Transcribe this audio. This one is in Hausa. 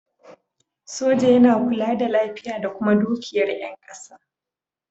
Soja yana kula da lafiya da kuma dukiyar yan ƙasa